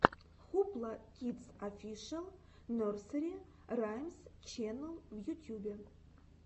хупла кидс офишэл нерсери раймс ченнел в ютьюбе